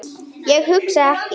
Ég hugsa ekki.